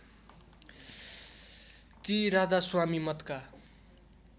ती राधास्वामी मतका